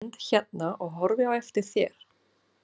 Ég stend hérna og horfi á eftir þér.